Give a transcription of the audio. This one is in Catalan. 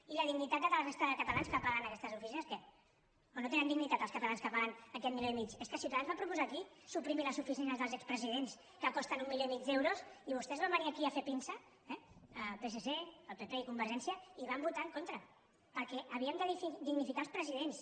i la dignitat de la resta de catalans que paguen aquestes oficines què o no tenen dignitat els catalans que paguen aquest milió i mig és que ciutadans va proposar aquí suprimir les oficines dels expresidents que costen un milió i mig d’euros i vostès van venir aquí a fer pinça eh el psc el pp i convergència i hi van votar en contra perquè havíem de dignificar els presidents